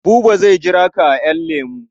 Buba zai jira ka a ƴan lemu.